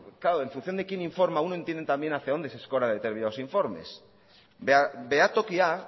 claro en función de quién informa uno entiende también hacia donde se escora determinados informes behatokia